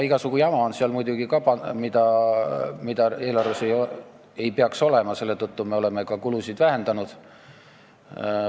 Igasugu jama on muidugi ka, mida eelarves ei peaks olema, selle tõttu me oleme ka kulusid vähendanud.